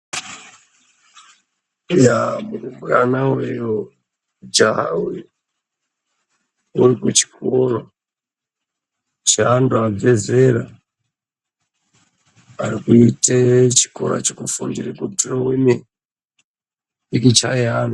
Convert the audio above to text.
Eya murumbwana uyu mujaha uwu ndewe kuchikora cheantu abve zera arikuita chikora chekufundira kudhirowa mipikicha yevantu.